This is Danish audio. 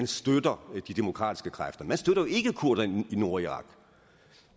støtter de demokratiske kræfter man støtter jo ikke kurderne i nordirak